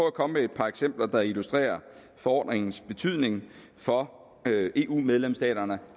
at komme med et par eksempler der illustrerer forordningens betydning for eu medlemsstaterne